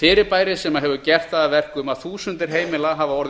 fyrirbæris sem hefur gert það að verkum að þúsundir heimila hafa orðið